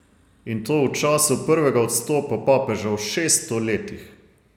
In to v času prvega odstopa papeža v šeststo letih.